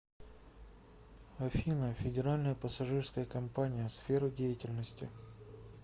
афина федеральная пассажирская компания сфера деятельности